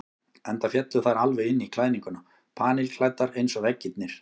Enda féllu þær alveg inn í klæðninguna, panilklæddar eins og veggirnir.